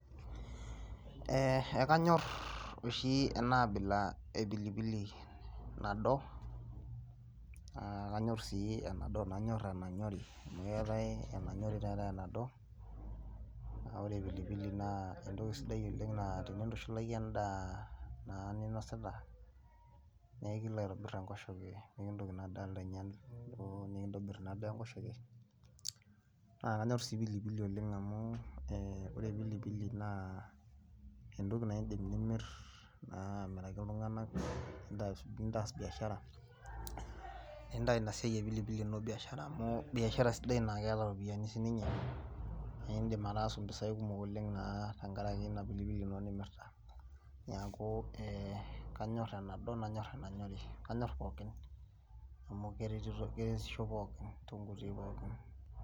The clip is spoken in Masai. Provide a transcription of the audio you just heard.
Eeh ekinyor oshi ena abila epilipili nado , naa kanyorr sii enanyori amu keetai enanyori neetai enado, amu wore pilipili naa entoki sidai oleng naa tinitushulaki endaa naa ninosita , naa ekilo aitobir enkoshoke nimikintoki inadaa alo ainyal enkoshoke, naa kanyorr sii pilipili oleng amu eeh, wore pilipili naa entoki naa idim nimir naa amiraki iltunganak , nitaas biashara nitaas ina siai ino epilipili biashara amu biashara sidai naa ketaa iropiyiani siininye naa idim ataasu impisai sidan oleng naa tengaraki ina pilipili ino nimirta. Niaku kanyorr enado nanyor enanyori amu keretisho pookin.